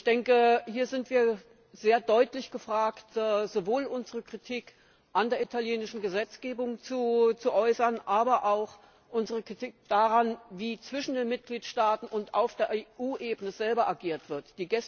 Ich denke, hier sind wir sehr deutlich gefragt, sowohl unsere Kritik an der italienischen Gesetzgebung zu äußern, als auch unsere Kritik daran, wie zwischen den Mitgliedstaaten unter auf EU Ebene selbst reagiert wird.